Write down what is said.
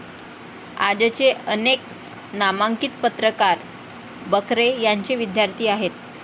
आजचे अनेक नामांकित पत्रकार बकरे यांचे विद्यार्थी आहेत.